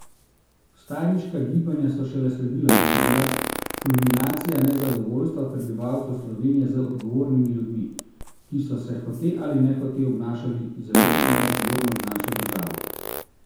Vstajniška gibanja so šele sledila in so bila kulminacija nezadovoljstva prebivalcev Slovenije z odgovornimi ljudmi, ki so se hote ali nehote obnašali zelo neodgovorno z našo državo.